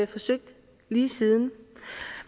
forsøgt lige siden